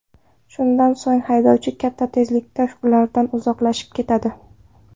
Shundan so‘ng haydovchi katta tezlikda ulardan uzoqlashib ketadi.